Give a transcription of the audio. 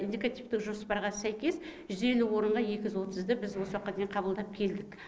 индикативтік жоспарға сәйкес жүз елу орынға екі жүз отызды біз осы уақытқа дейін қабылдап келдік